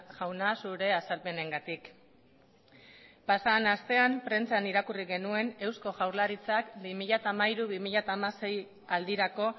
jauna zure azalpenengatik pasaden astean prentsan irakurri genuen eusko jaurlaritzak bi mila hamairu bi mila hamasei aldirako